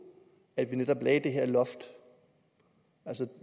at vi netop lagde det her loft ind altså